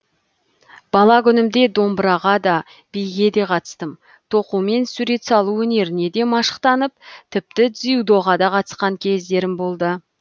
бала күнімде домбыраға да биге де қатыстым тоқу мен сурет салу өнеріне де машықтанып тіпті дзюдоға да қатысқан кездерім болды